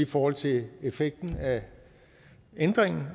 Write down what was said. forhold til effekten af ændringen